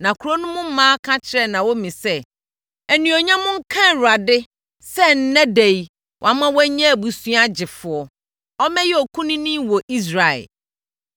Na kuro no mu mmaa ka kyerɛɛ Naomi sɛ, “Animuonyam nka Awurade sɛ ɛnnɛ ɛda yi, wama woanya abusua gyefoɔ! Ɔmmɛyɛ okunini wɔ Israel.